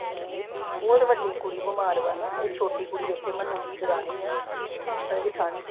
ਉਹ ਤੇ ਵੱਡੀ ਕੁੜੀ ਬਿਮਾਰ ਆ ਨਾ। ਇਹ ਛੋਟੀ ਕੁੜੀ ਇਥੇ, ਉਹ ਮੰਨੂ ਦੀ ਦਰਾਣੀ ਆ, ਇਹ ਜਠਾਣੀ।